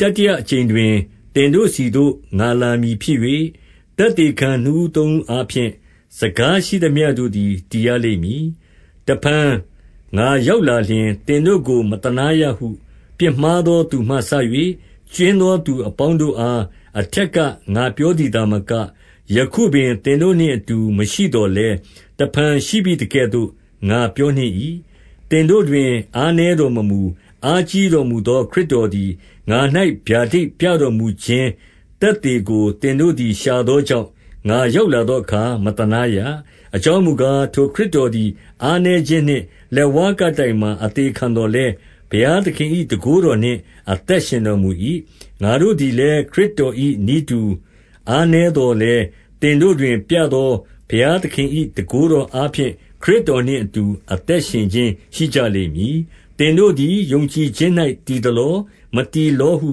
တတိယအကြိမ်တွင် သင်တို့ဆီသို့ ငါလာမည်ဖြစ်၍၊ သက်သေခံနှစ်ဦးသုံးဦးအားဖြင့် စကားရှိသမျှ တို့သည် တည်ရလိမ့်မည်။ 2 တဖန်ငါရောက်လာလျှင် သင်တို့ကိုမသနားရဟု ပြစ်မှားသော သူမှစ၍ကြွင်းသော သူအပေါင်းတို့အား အထက်က ငါပြောသည်သာမက၊ ယခုပင်သင်တို့နှင့်အတူ မရှိသော်လည်း၊ တဖန်ရှိဘိသကဲ့သို့ငါပြောနှင့်၏။ 3 သင်တို့တွင်အားနည်းတော်မမူ၊ အားကြီးတော်မူသော ခရစ်တော်သည် ငါ၌ဗျာဒိဏ်ပြတော်မူခြင်း သက်သေကို သင်တို့သည် ရှာသောကြောင့်၊ ငါရောက် လာသောအခါ မသနားရ။ 4 အကြောင်းမူကား၊ ထိုခရစ်တော်သည် အားနည်းခြင်းနှင့်လက်ဝါးကပ်တိုင်မှာ အသေခံသော်လည်း၊ ဘုရားသခင်၏တန်ခိုးတော်နှင့် အသက်ရှင်တော်မူ၏။ ငါတို့သည်လည်း ခရစ်တော်၏နည်းတူ အားနည်း သော်လည်း၊ သင်တို့တွင်ပြသော ဘုရားသခင်၏ တန်ခိုး တော်အားဖြင့် ခရစ်တော်နှင့်အတူ အသက်ရှင်ခြင်း ရှိကြလိမ့်မည်။ 5 သင်တို့သည်ယုံကြည်ခြင်း၌တည်သလော၊ မတည်လောဟု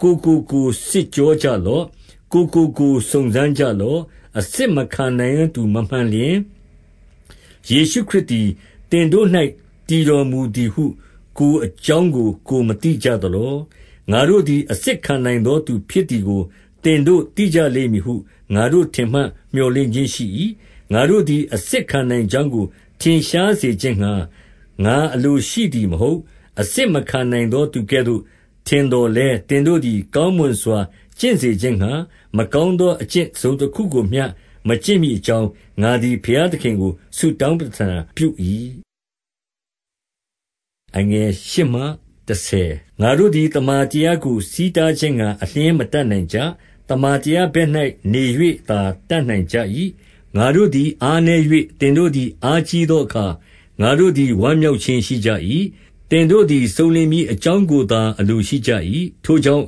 ကိုယ်ကိုကိုယ်စစ်ကြောကြလော့။ ကိုယ်ကို ကိုယ်စုံစမ်းကြလော့။ အစစ်မခံနိုင်သော သူမမှန်လျှင်၊ ယေရှုခရစ်သည် သင်တို့၌ တည်တော်မူသည်ဟု ကိုယ် အကြောင်းကိုယ်မသိကြလော။ 6 ငါတို့သည် အစစ်ခံနိုင်သောသူဖြစ်သည်ကို သင်တို့သိကြလိမ့်မည်ဟု ငါထင်မှတ်မြော်လင့်ခြင်းရှိ၏။ 7 ငါတို့သည် အစစ်ခံနိုင်ကြောင်းကို ထင်ရှားစေခြင်းငှါ ငါအလိုရှိသည်မဟုတ်။ အစစ်မခံနိုင်သော သူကဲ့သို့ထင်သော်လည်း၊ သင်တို့သည် ကောင်းမွန်စွာ ကျင့်စေခြင်းငှါ၊ မကောင်းသောအကျင့်တစုံတခုကိုမျှ မကျင့်မည်အကြောင်း၊ ငါသည် ဘုရားသခင်ကို ဆုတောင်းပဌနာပြု၏။ 8 ငါတို့သည်သမ္မာတရားကို ဆီးတားခြင်းငှါ အလျှင်းမတတ်နိုင်ကြ။ 9 သမ္မာတရားဘက်၌နေ၍သာ တတ်နိုင်ကြ၏။ ငါတို့သည်အားနည်း၍ သင်တို့သည်အားကြီးသောအခါ၊ ငါတို့သည် ဝမ်းမြောက်ခြင်းရှိကြ၏။ သင်တို့သည် စုံလင်မည်အကြောင်းကိုသာ အလိုရှိကြ၏။ 10 ထိုကြောင့်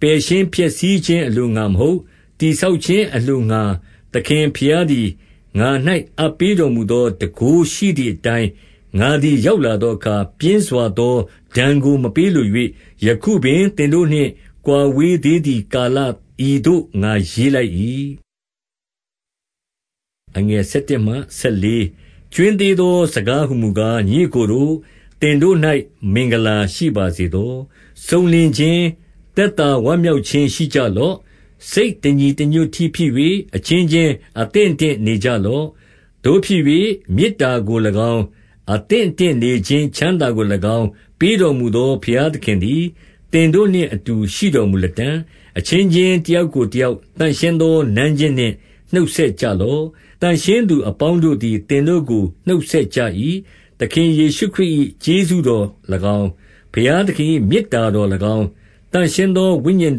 ပယ်ရှင်းဖျက်ဆီးခြင်းအလိုငှါမဟုတ်၊ တည်ဆောက်ခြင်းအလိုငှါ သခင်ဘုရားသည် ငါ၌ အပ်ပေးတော်မူသော တန်ခိုးရှိသည်အတိုင်း ငါသည် ရောက်လာသောအခါ ပြင်းစွာသောဒဏ်ကို မပေးလို၍၊ ယခုသင်တို့နှင့် ကွာဝေးသေးသည်ကာလ ဤသို့ ငါရေးလိုက်၏။ 11 ကြွင်းသေးသောစကားဟူမူကား၊ ညီအစ်ကိုတို့၊ သင်တို့၌ မင်္ဂလာရှိပါစေသော။ စုံလင်ခြင်း၊ သက်သာ ဝမ်းမြောက်ခြင်းရှိကြလော့။ စိတ်တညီတညွတ်တည်း ဖြစ်၍၊ အချင်းချင်းအသင့်အတင့်နေကြလော့။ သို့ဖြစ်၍ မေတ္တာကို၎င်း၊ အသင့်အတင့်နေခြင်း ချမ်းသာကို၎င်း ပေးတော်မူသော ဘုရားသခင်သည် သင်တို့နှင့်အတူ ရှိတော်မူလတံ့။ 12 အချင်းချင်းတယောက်ကိုတယောက် သန့်ရှင်းသော နမ်းခြင်းနှင့် နှုတ်ဆက်ကြလော့။ 13 သန့်ရှင်းသူအပေါင်းတို့သည် သင်တို့ကို နှုတ်ဆက်ကြ၏။ 14 သခင်ယေရှုခရစ်၏ ကျေးဇူးတော်၎င်း၊ ဘုရားသခင်၏ မေတ္တာတော်၎င်း၊ သန့်ရှင်းသော ဝိညာဉ်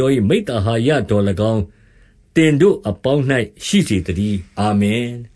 တော်၏ မိဿဟာယတော်၎င်း၊ သင်တို့အပေါင်း၌ရှိစေသတည်း။ အာမင်။